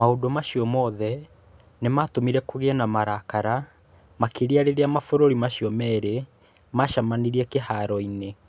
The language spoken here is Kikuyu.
Maũndũ macio mothe nĩ maatũmire kũgĩe na marakara makĩria rĩrĩa mabũrũri macio merĩ maacemanirie kĩharo-inĩ .